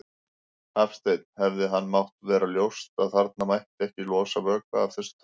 Hafsteinn: Hefði þeim mátt vera ljóst að þarna mætti ekki losa vökva af þessu tagi?